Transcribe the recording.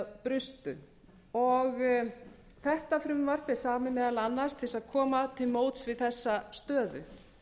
brustu þetta frumvarp er samið meðal annars til þess að koma til móts við þessa stöðu